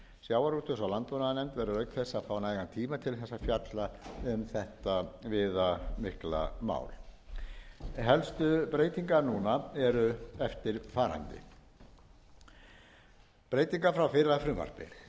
sjávarútvegs og landbúnaðarnefnd verður auk þess að fá nægan tíma til þess að fjalla um þetta viðamikla mál helstu breytingar núna eru eftirfarandi breytingar frá fyrra frumvarpi